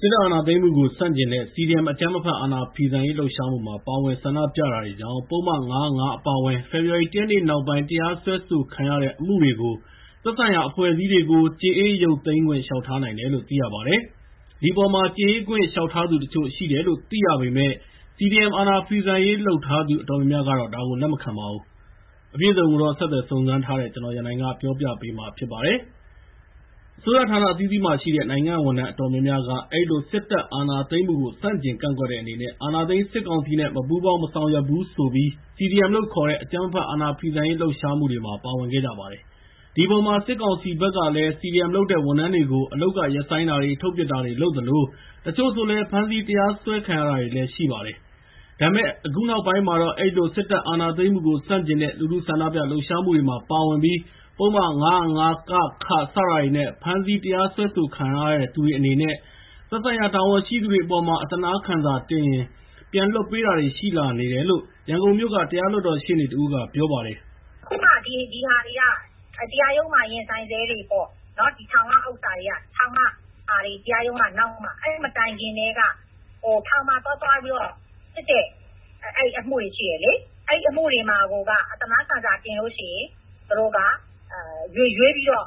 စစ်တပ်အာဏာသိမ်းမှုကို ဆန့်ကျင်တဲ့ CDM အကြမ်းမဖက် အာဏာဖီဆန်ရေးလှုပ်ရှားမှုမှာပါဝင် ဆန္ဒပြတာတွေကြောင့် ပုဒ်မ ၅၀၅ အပါအဝင် ဖေဖော်ဝါရီ ၁ ရက်နေ့ နောက်ပိုင်း တရားစွဲဆိုခံရတဲ့အမှုတွေကို သက်ဆိုင်ရာ အဖွဲ့အစည်းတွေကို ကြေအေး ရုပ်သိမ်းခွင့် လျှောက်ထားနိုင်တယ်လို့ သိရပါတယ်။ ဒီအပေါ် ကြေအေးခွင့်လျှောက်ထားသူတချို့ရှိတယ်လို့ သိရပေမယ့် CDM အာဏာဖီဆန်ရေးလုပ် ထားသူ အတော်များများကတော့ ဒါကို လက်မခံပါဘူး။ အပြည့်အစုံကို ကိုရန်နိုင်ဆက်သွယ်မေးမြန်းထားပါတယ်။ အစိုးရဌာနအသီးသီးမှာရှိတဲ့ နိုင်ငံ့ဝန်ထမ်းအတော်များများက အဲဒီလို စစ်အာဏာသိမ်းမှုကို ဆန့်ကျင်ကန့်ကွက်တဲ့အနေနဲ့ အာဏာသိမ်းစစ်ကောင်စီနဲ့ မပူးပေါင်းမဆောင်ရွက်ဘူးဆိုပြီး CDM လို့ခေါ်တဲ့ အကြမ်းမဖက် အာဏာဖီဆန်ရေးလှုပ်ရှားမှုတွေမှာ ပါဝင်ခဲ့ကြပါတယ်။ ဒီအပေါ်မှာ စစ်ကောင်စီဘက်ကလည်း CDM လုပ်တဲ့ ဝန်ထမ်းတွေကို အလုပ်ကရပ်ဆိုင်းတာတွေ၊ ထုတ်ပစ်တာတွေ လုပ်သလို တချို့ ဆိုလည်း ဖမ်းဆီး တရားစွဲခံရတာတွေလည်းရှိပါတယ်။ ဒါပေမဲ့လည်း အခုနောက်ပိုင်းမှာတော့ အဲဒီလို စစ်တပ်အာဏာသိမ်းမှုကို ဆန့်ကျင်တဲ့ လူထုဆန္ဒပြလှုပ်ရှားမှုတွေမှာပါဝင်ပြီးပုဒ်မ ၅၀၅ စတာတွေနဲ့ ဖမ်းဆီး တရားစွဲဆိုခံထားရတဲ့သူတွေအနေနဲ့ သက်ဆိုင်ရာတာဝန်ရှိသူတွေအပေါ်မှာ အသနားခံစာတင်ရင် ပြန်လွှတ်ပေးတာတွေလည်း ရှိလာနေတယ်လို့ ရန်ကုန်မြို့က တရားလွှတ်တော်ရှေ့နေတဦးက ပြောပါတယ်။ “အခုမှာ ဒီဟာတွေက တရားရုံးမှာရင်ဆိုင်ဆဲတွေပေါ့။ ထောင်ကအမှုတွေက တရားရုံးက နောက်မှ။ အဲဒီမတိုင်ခင်ကတည်းက ထောင်မှာသွားသွားပြီးတော့ စစ်တဲ့အမှုတွေ ရှိတယ်လေ။ အဲဒီအမှုတွေမှာက အသနားခံစာတင်လို့ရှိရင် သူတို့က ရွေးပြီးတော့